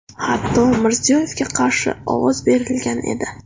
Hatto Mirziyoyevga qarshi ovoz berilgan edi.